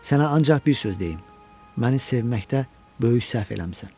Sənə ancaq bir söz deyim: Məni sevməkdə böyük səhv eləmisən.